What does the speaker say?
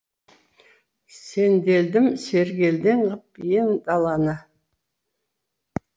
сенделдім сергелдең ғып ен даланы